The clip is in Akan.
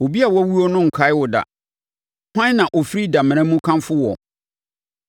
Obi a wawuo no renkae wo da, hwan na ɔfiri damena mu kamfo woɔ?